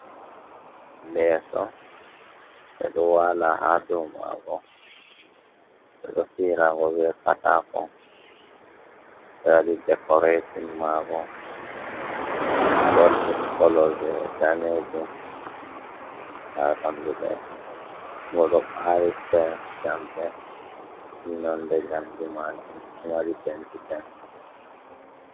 Leeso, ɓe ɗo waala haa dow maago, ɓe ɗo fi`irango be kaataako, ɓe waɗi dikorekcon maago goldin kolo, be daneejum. Haa ɓanndu leeso ngo ɗo ɓaari firem jamɗe, nonnde jamɗe maajum ɗo mari daneejum.